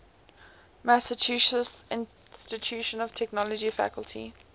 massachusetts institute of technology faculty